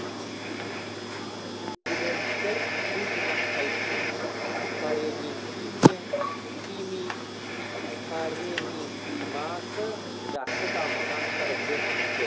суккуленттер су жинақтайтын паренихимасы жақсы дамыған шырынды өсімдіктер